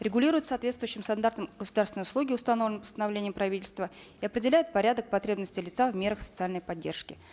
регулируют соответствующим стандартом государственной услуги установленной постановлением правительства и определяют порядок потребности лица в мерах социальной поддержки